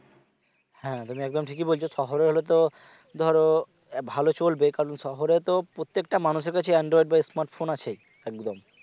হ্যাঁ তুমি একদম ঠিকই বলছ শহরে হলে তো ধরো ভালো চলবে কারণ শহরে তো প্রত্যেকটা মানুষের কাছে android বা smart phone আছেই একদম